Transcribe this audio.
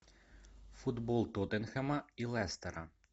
футбол тоттенхэма и лестера